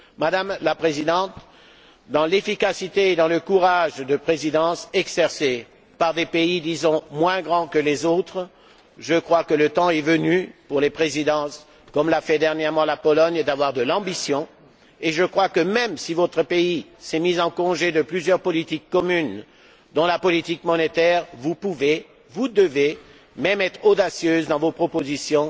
Madame la Présidente, avec l'efficacité et le courage de présidences exercées par des pays, disons, moins grands que les autres, je crois que le temps est venu, pour les présidences, comme l'a fait dernièrement la Pologne, d'avoir de l'ambition, et je crois que, même si votre pays s'est mis en congé de plusieurs politiques communes, dont la politique monétaire, vous pouvez, vous devez même être audacieuse dans vos propositions.